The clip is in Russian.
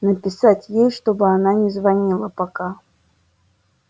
написать ей чтобы она не звонила пока